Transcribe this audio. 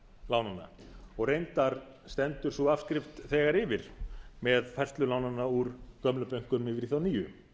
lánanna og reyndar stendur sú afskrift þegar yfir með færslu lánanna úr gömlum bönkum yfir í þá nýju